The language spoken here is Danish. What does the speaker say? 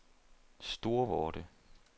Storvorde